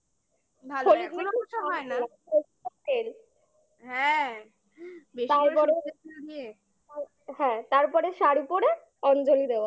হ্যাঁ তারপরে শাড়ি পরে অঞ্জলি দেওয়া